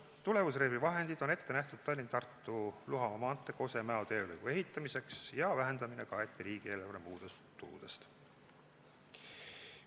" Tulemusreservi vahendid on ette nähtud Tallinna–Tartu–Luhamaa maantee Kose–Mäo teelõigu ehitamiseks ja vähendamine kaeti riigieelarve muudest tuludest.